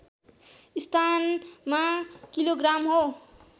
स्थानमा kilogram हो